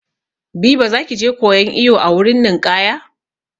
Biba za ki je koyan iwo a wurin ninƙaya?